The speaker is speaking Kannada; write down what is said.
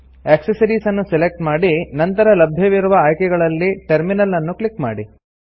ಆಕ್ಸೆಸರೀಸ್ ಅನ್ನು ಸೆಲೆಕ್ಟ್ ಮಾಡಿ ನಂತರ ಲಭ್ಯವಿರುವ ಆಯ್ಕೆಗಳಲ್ಲಿ ಟರ್ಮಿನಲ್ ಅನ್ನು ಕ್ಲಿಕ್ ಮಾಡಿ